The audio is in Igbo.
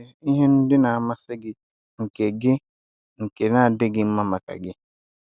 O nwere ihe ndị na-amasị gị nke gị nke na-adịghị mma maka gị.